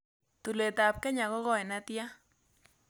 Tulwetap kenya ko goi ne tyan